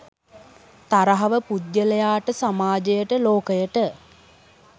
තරහව පුද්ගලයාට, සමාජයට, ලෝකයට